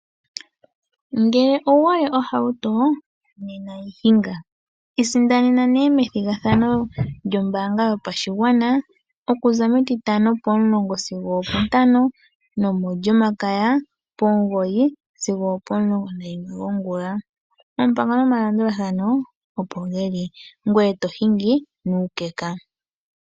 Ngele owu hole ohauto nena yi hinga. Isindanena nee methigathano lyombaanga yopashigwana okuza metitano pomulongo sigo opontano nomolyomakaya pomugoyi sigo opomulongo nayimwe gongula. Oompango nomalandulathano opo dhi li ngoye to hingi nuukeka.